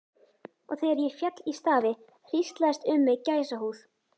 Og þegar ég féll í stafi hríslaðist um mig gæsahúð.